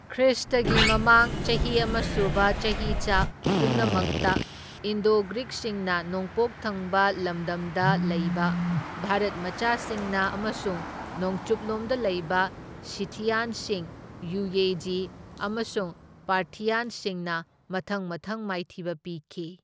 ꯈ꯭ꯔꯤꯁꯇꯒꯤ ꯃꯃꯥꯡ ꯆꯍꯤ ꯑꯃ ꯁꯨꯕ ꯆꯍꯤꯆꯥ ꯄꯨꯝꯅꯃꯛꯇ ꯏꯟꯗꯣ ꯒ꯭ꯔꯤꯛꯁꯤꯡꯅ ꯅꯣꯡꯄꯣꯛ ꯊꯪꯕ ꯂꯝꯗꯝꯗ ꯂꯩꯕ ꯚꯥꯔꯠ ꯃꯆꯥꯁꯤꯡꯅ, ꯑꯃꯁꯨꯡ ꯅꯣꯡꯆꯨꯞ ꯂꯣꯝꯗ ꯂꯩꯕ ꯁꯤꯊꯤꯌꯥꯟꯁꯤꯡ, ꯌꯨꯌꯦꯖꯤ ꯑꯃꯁꯨꯡ ꯄꯥꯔꯊꯤꯌꯥꯟꯁꯤꯡꯅ ꯃꯊꯪ ꯃꯊꯪ ꯃꯥꯏꯊꯤꯕ ꯄꯤꯈꯤ꯫